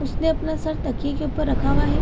उसने अपना सर तकिए के ऊपर रखा हुआ है।